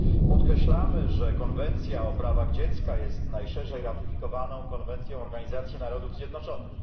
Podkreślamy, że konwencja o prawach dziecka jest najszerzej ratyfikowaną konwencją Organizacji Narodów Zjednoczonych.